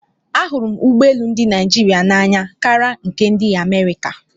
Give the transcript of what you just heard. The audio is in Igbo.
Ahụrụ m ụgbọ elu ndị Naịjirịa n'anya kara nke ndị Amerịka.